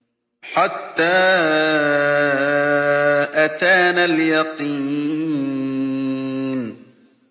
حَتَّىٰ أَتَانَا الْيَقِينُ